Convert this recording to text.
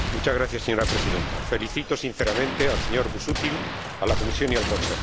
Señora Presidenta, felicito sinceramente al señor Busuttil, a la Comisión y al Consejo.